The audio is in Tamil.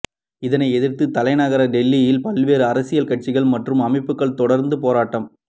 இதனை எதிர்த்து தலைநகர் டில்லியில் பல்வேறு அரசியல் கட்சிகள் மற்றும் அமைப்புகள் தொடர்ந்து போராட்டம்